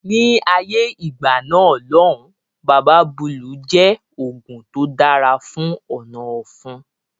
Ni ayé ìgbà náà lòun Baba Búlù jẹ oògùn tó dára fún ọ̀nà ọ̀fun